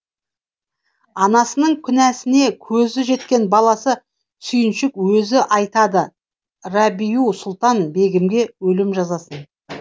анасының күнәсіне көзі жеткен баласы сүйіншік өзі айтады рабиу сұлтан бегімге өлім жазасын